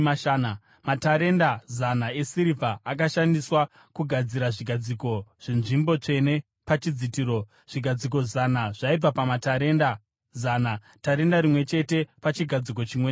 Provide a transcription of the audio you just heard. Matarenda zana esirivha akashandiswa kugadzira zvigadziko zvenzvimbo tsvene pachidzitiro, zvigadziko zana zvaibva pamatarenda zana, tarenda rimwe chete pachigadziko chimwe nechimwe.